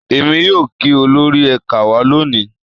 Èmi yóò kí olórí ẹ̀ka wa lónìí